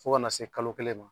Fo ka ka n'a se kalo kelen ma